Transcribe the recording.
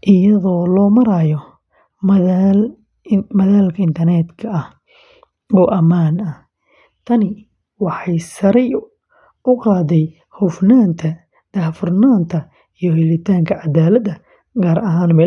iyadoo loo marayo madal internet-ka ah oo ammaan ah. Tani waxay sare u qaaday hufnaanta, daahfurnaanta, iyo helitaanka cadaaladda, gaar ahaan meelaha fogfog.